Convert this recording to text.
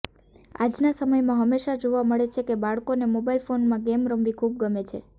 આજના સમયમાં હંમેશા જોવા મળે છે કે બાળકોને મોબાઈલ ફોનમાં ગેમ રમવી ખૂબ ગમે છે